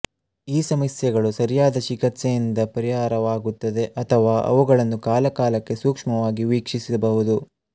ಈ ಸಮಸ್ಯೆಗಳು ಸರಿಯಾದ ಚಿಕಿತ್ಸೆಯಿಂದ ಪರಿಹಾರವಾಗುತ್ತವೆ ಅಥವಾ ಅವುಗಳನ್ನು ಕಾಲಕಾಲಕ್ಕೆ ಸೂಕ್ಷ್ಮವಾಗಿ ವೀಕ್ಷಿಸಬಹುದು